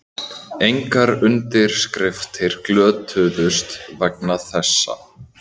Engar undirskriftir glötuðust vegna þessa